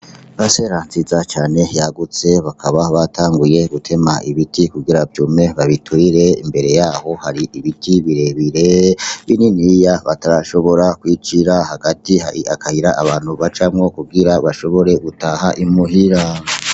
Paracera nziza cane yagutse bakaba batanguye gutema ibiti kugira vyume babiturire imbere yaho hari ibiti birebire bininiya batarashobora kwicira hagati akayira abantu bacamwo kugira bashobore gutaha imuhira.